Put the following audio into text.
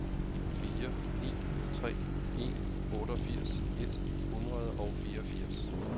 fire ni tre en otteogfirs et hundrede og fireogfirs